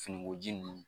Finikoji ninnu